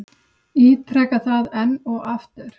Ítreka það enn og aftur.